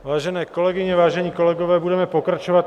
Vážené kolegyně, vážení kolegové, budeme pokračovat.